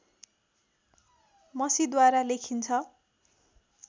मसीद्वारा लेखिन्छ